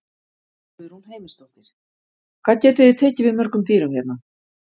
Guðrún Heimisdóttir: Hvað getið þið tekið við mörgum dýrum hérna?